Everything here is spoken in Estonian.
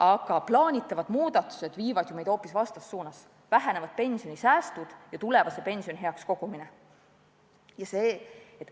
Aga plaanitavad muudatused viivad meid hoopis vastassuunas, vähenevad pensionisäästud ja tulevase pensioni heaks kogumine.